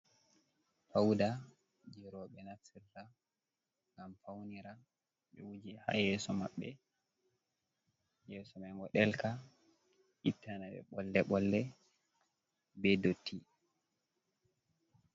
Fauda je robe naftirta gam faunira be wuji ha yes9 maɓbe, yeso mai do delka ittanabe bolle bolle be dotti.